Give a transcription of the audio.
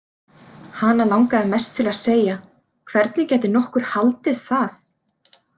Hana langaði mest til að segja: Hvernig gæti nokkur haldið það?